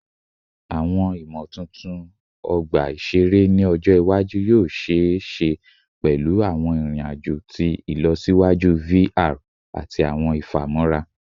Awọn imotuntun ọgba iṣere ni ọjọ iwaju yoo ṣee ṣe pẹlu awọn irin-ajo ti ilọsiwaju VR ti ilọsiwaju ati awọn ifamọra